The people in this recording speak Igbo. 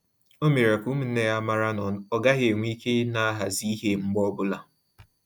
Ọ mere ka ụmụnne ya mara na-ọ gaghị enwe ike ina ahazi ihe mgbe ọbụla